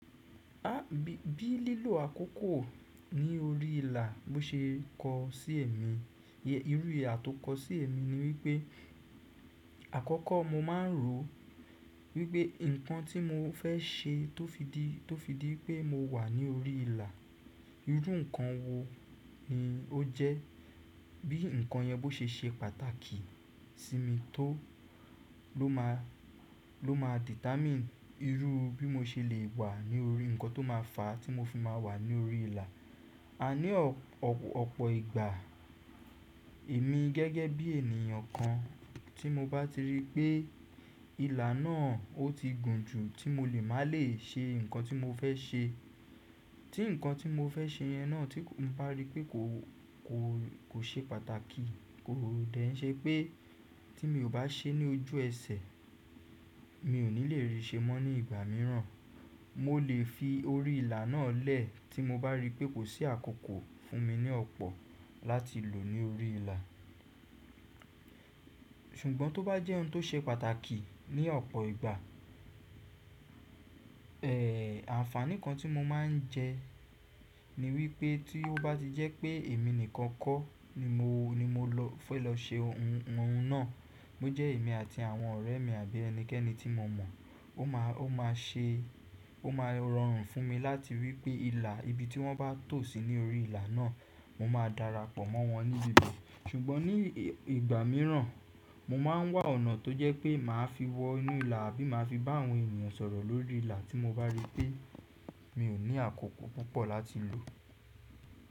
A, bí, bí lílò àkókò ní orí ìlà bo ṣe kọ sí èmi, irú ìhà tọ kọ sí èmi ni wípé àkọ́kọ́ mo ma n rò wípé ǹkan tí mo fẹ́ ṣe tó fi di, tó fi di pé mo wà ní orí ìlà, irú ǹkan wo ni o jẹ́. Bí ǹkan yẹn bó ṣe ṣe pàtàkì sí mi tó ló má, ló má determine irú bí mo ṣe le wà ní orí ǹkan tó má fàá tí mo fi má a wà ní orí ìlà. A ní ọ̀pọ̀ ìgbà èmi gẹ́gẹ́ bí ènìyàn kan tí mo bá ti rí pé ìlà náà o ti gùn jù tí mo lè má lè ṣe ǹkan tí mo fẹ́ ṣe, tí ǹkan tí mo fẹ́ ṣe yẹn náà tí mo bá rí pé kò, kò ṣe pàtàkì kò dẹ̀ ń ṣe pé tí mi ò bá ṣe é ní ojú ẹsẹ̀ mi ò ní le rí ṣe mọ́ ní ìgbà mìíràn. Mo le fi orí ìlà náà lẹ̀ tí mo bá rí pé kò sí àkókò fún mi ní ọ̀pọ̀ láti lò ní orí ìlà. Ṣùgbọ́n tó bá jẹ́ ohun tó ṣe pàtàkì ní ọ̀pọ̀ ìgbà, ẹ, àǹfàní kan tí mo máa ń jẹ ní wípé tí ó bá ti jẹ́ pé èmi nìkan kọ́ ni mo, ni mo lọ fẹ́ lọ ṣe oun náà, bó jẹ́ èmi àti àwọn ọ̀rẹ́ mi àbí ẹnikẹ́ni tí mo mọ̀, ó máa, ó máa ṣe, ó máa rọrùn fún mi láti wípé ìlà ibi tí wọ́n bá tò sí ní orí ìlà náà mo máa darapọ̀ mọ́ wọn ní ibi. Ṣùgbọ́n ní ìgbà mìíràn mo máa ń wà ọ̀nà tó jẹ́ pé màá fi wọ inú ìlà àbí màá fi bá àwọn ènìyàn sọ̀rọ̀ lórí ìlà tí mo bá rí pé mi ò ní àkókò púpọ̀ láti lò.